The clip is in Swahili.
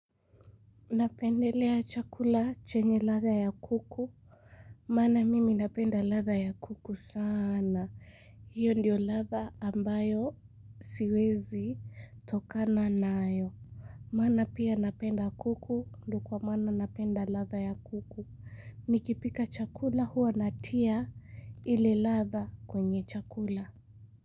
Napendelea chakula chenye ladha ya kuku. Mana mimi napenda ladha ya kuku sana hiyo ndiyo ladha ambayo siwezi tokana nayo maana pia napenda kuku ndo kwa mana napenda ladha ya kuku. Nikipika chakula huwa natia ile ladha kwenye chakula.